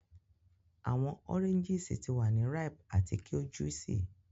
Awọn oranges ti wa ni ripe ati ki o juicy.